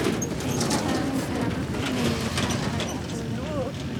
Waxay ka caawin karaan dadka inay yeeshaan aragti togan.